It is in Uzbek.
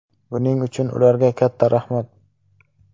Buning uchun ularga katta rahmat!